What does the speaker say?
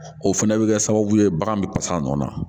O fɛnɛ bɛ kɛ sababu ye bagan bɛ pasa a nɔ na